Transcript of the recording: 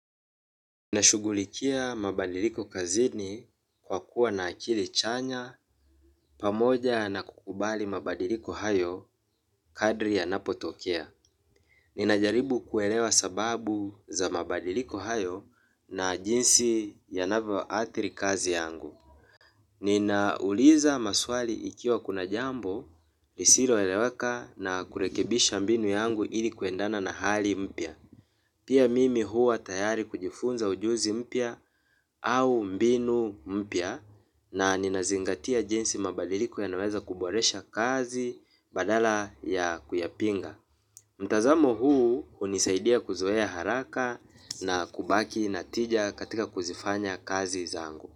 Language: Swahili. Nashughulikia mabadiliko kazini kwa kuwa na akili chanya pamoja na kukubali mabadiliko hayo kadiri yanapotokea. Ninajaribu kuelewa sababu za mabadiliko hayo na jinsi yanavyoathiri kazi yangu. Ninauliza maswali ikiwa kuna jambo lisiloeleweka na kurekebisha mbinu yangu ili kuendana na hali mpya. Pia mimi huwa tayari kujifunza ujuzi mpya au mbinu mpya na ninazingatia jinsi mabadiliko yanaweza kuboresha kazi badala ya kuyapinga. Mtazamo huu hunisaidia kuzoea haraka na kubaki na tija katika kuzifanya kazi zangu.